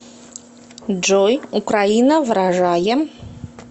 джой украина вражае